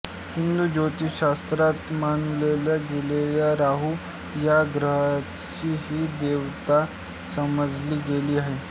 हिंदू ज्योतिषशास्त्रात मानल्या गेलेल्या राहू या ग्रहाची ही देवता समजली गेली आहे